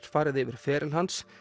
farið yfir feril hans